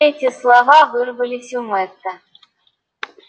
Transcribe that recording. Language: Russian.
эти слова вырвались у мэтта